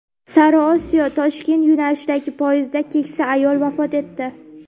Sariosiyo-Toshkent yo‘nalishidagi poyezdda keksa ayol vafot etdi.